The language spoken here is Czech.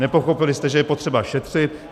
Nepochopili jste, že je potřeba šetřit.